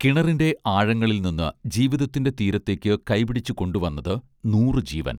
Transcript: കിണറിന്റെ ആഴങ്ങളിൽ നിന്ന് ജീവിതത്തിന്റെ തീരത്തേക്ക് കൈപിടിച്ചു കൊണ്ടു വന്നത് നൂറു ജീവൻ